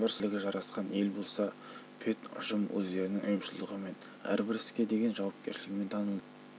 сызғанның халқы да бір сауыққой бірлігі жарасқан ел болса педұжым өздерінің ұйымшылдығымен әрбір іске деген жауапкершілігімен танылды